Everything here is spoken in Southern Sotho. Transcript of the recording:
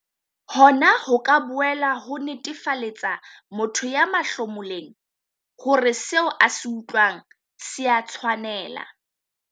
Hona ho ka boela ho netefaletsa motho ya mahlomoleng hore seo a se utlwang se a tshwanela.